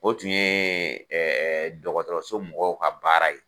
O tun ye dɔgɔtɔrɔso mɔgɔw ka baara ye.